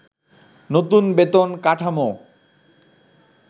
নতুন বেতন কাঠামো